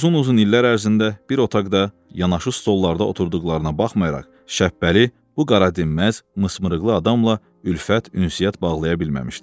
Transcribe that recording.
Uzun-uzun illər ərzində bir otaqda yanaşı stolllarda oturduqlarına baxmayaraq Şəpbəli bu qaradinməz, mısırmırığlı adamla ülfət, ünsiyyət bağlaya bilməmişdi.